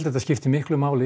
þetta skiptir miklu máli